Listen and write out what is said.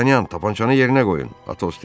Dartanyan, tapançanı yerinə qoyun!